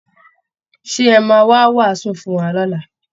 Ṣé ẹ̀ máa wá wàásù fún wa lọ́la?